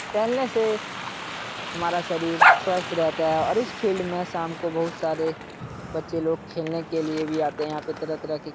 पहले से हमारा शरीर स्वस्थ रहता है और इस फील्ड में शाम को बहुत सारे बच्चे लोग खेलने के लिए भी आते हैं। यहाँ पे तरह तरह के --